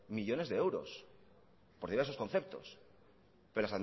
millónes de euros por diversos conceptos pero